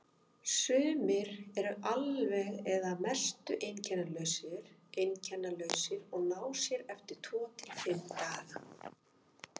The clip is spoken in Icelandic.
Sumir eru alveg eða að mestu einkennalausir og ná sér eftir tvo til fimm daga.